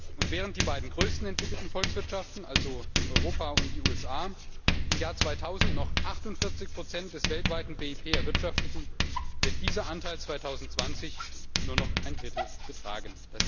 Und während die beiden größten entwickelten Volkswirtschaften, also Europa und die USA, im Jahr 2000 noch 48 des weltweiten BIP erwirtschafteten, wird dieser Anteil 2020 nur noch ein Drittel betragen.